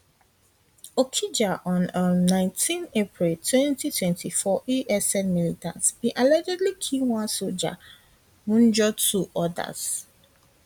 okija on um 19 april 2024 esn militants bin allegedly kill one soldier wunjure two odas